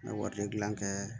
N bɛ wari gilan kɛ